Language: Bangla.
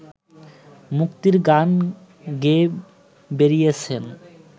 মুক্তির গান গেয়ে বেরিয়েছেন